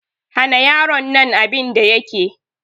Hana yaron nan abin da yake!